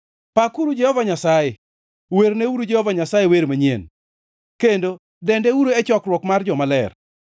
Pakuru Jehova Nyasaye! Werneuru Jehova Nyasaye wer manyien, kendo dendeuru e chokruok mar jomaler.